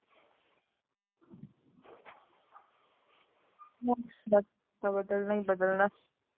ਹੁਣ ਬਸ ਬਦਲਣਾਂ ਹੀ ਬਦਲਣਾ ਹੈ